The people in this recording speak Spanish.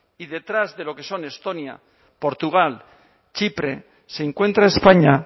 y detrás de lo que son estonia portugal chipre se encuentra españa